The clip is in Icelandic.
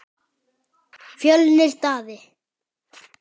Fjölnir Daði.